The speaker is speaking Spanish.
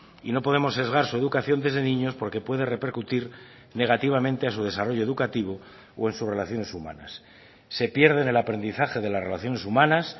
y no podemos sesgar su educación desde niños porque puede repercutir negativamente a su desarrollo educativo o en sus relaciones humanas se pierden el aprendizaje de las relaciones humanas